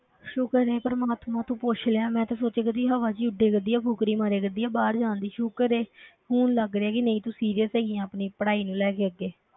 ਸ਼ੁਕਰ ਹੈ ਪ੍ਰਮਾਤਮਾ ਤੂੰ ਪੁੱਛ ਲਿਆ ਮੈਂ ਤਾਂ ਸੋਚਿਆ ਕਰਦੀ ਹਵਾ ਵਿੱਚ ਹੀ ਉੱਡਿਆ ਕਰਦੀ ਆ, ਫ਼ੁਕਰੀ ਮਾਰਿਆ ਕਰਦੀ ਆ ਬਾਹਰ ਜਾਣ ਦੀ ਸ਼ੁਕਰ ਹੈ ਹੁਣ ਲੱਗ ਰਿਹਾ ਕਿ ਨਹੀਂ ਤੂੰ serious ਹੈਗੀ ਹੈ ਆਪਣੀ ਪੜ੍ਹਾਈ ਨੂੰ ਲੈ ਕੇ ਅੱਗੇ,